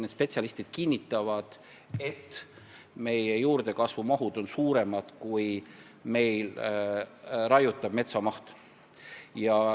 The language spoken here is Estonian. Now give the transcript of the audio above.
Need spetsialistid kinnitavad, et juurdekasvu mahud on suuremad kui raiutava metsa maht.